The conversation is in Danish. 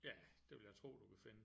Ja det vil jeg tro du kan finde